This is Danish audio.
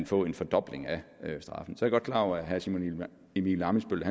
få en fordobling af straffen så godt klar over at herre simon emil ammitzbøll